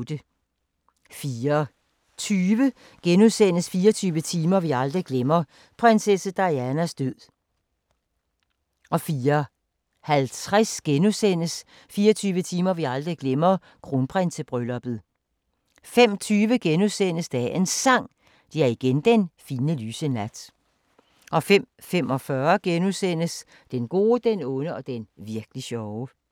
04:20: 24 timer vi aldrig glemmer – prinsesse Dianas død * 04:50: 24 timer vi aldrig glemmer – Kronprinsebrylluppet * 05:20: Dagens Sang: Det er igen den fine, lyse nat * 05:45: Den gode, den onde og den virk'li sjove *